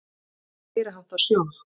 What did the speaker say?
Það var meiriháttar sjokk.